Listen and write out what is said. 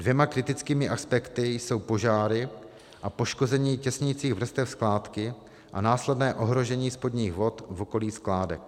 Dvěma kritickými aspekty jsou požáry a poškození těsnicích vrstev skládky a následné ohrožení spodních vod v okolí skládek.